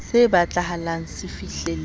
se batlahala se fihlelletswe ho